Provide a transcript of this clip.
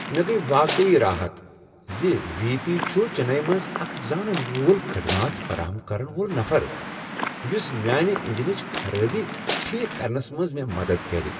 مےٚ گٔیۍ واقعی راحت زِ وی۔ پی چُھ چنئیی منٛز اکھ زانن وول خدمات فراہم کرن وول نفر یُس میانِہ انجنٕچ خرٲبی ٹھیک کرنس منٛز مےٚ مدتھ کرِ۔